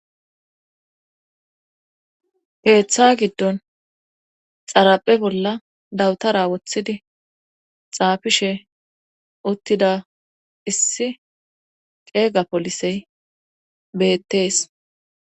peeththa giddon xaraphe bolla dawutara woththidi xaafishe uttida issi qeega polisey beettees